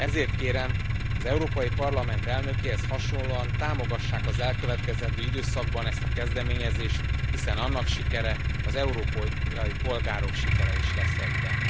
Ezért kérem, az Európai Parlament elnökéhez hasonlóan támogassák az elkövetkezendő időszakban a kezdeményezést, hiszen annak sikere az európai polgárok sikere is lesz egyben.